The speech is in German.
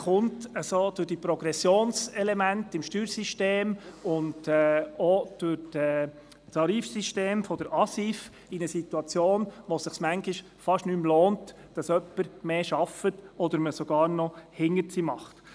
Dieser gerät durch die Progressionselemente im Steuersystem und auch wegen des Tarifsystems der Verordnung über die Angebote zur sozialen Integration (ASIV) in eine Situation, in der es sich manchmal kaum mehr lohnt, zu arbeiten, oder in der man sogar Verluste macht.